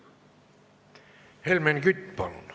Helmen Kütt, palun!